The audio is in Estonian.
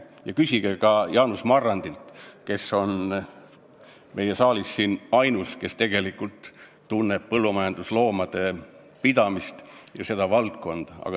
Küsige ka Jaanus Marrandilt, kes on siin saalis ainus, kes tegelikult tunneb põllumajandusloomade pidamise valdkonda.